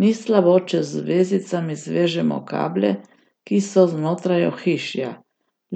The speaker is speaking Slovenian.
Ni slabo, če z vezicami zvežemo kable, ki so znotraj ohišja,